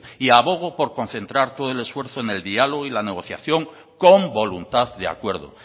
y abogo por concentrar todo el esfuerzo en el diálogo y en la negociación con voluntad de acuerdo